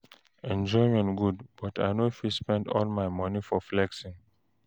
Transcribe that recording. Enjoyment good, but I no fit spend all my money for flexing.